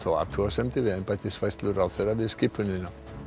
athugasemdir við embættisfærslu ráðherra við skipunina